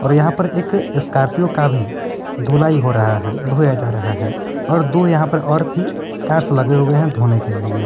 और यहां पर एक स्कॉर्पियो का भी धुलाई हो रहा है धोया जा रहा है और दो यहां पर और भी कार्स लगे हुए हैं धोने के लिए--